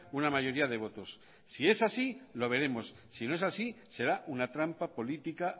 una mayoría de votos si es así lo veremos si no es así será una trampa política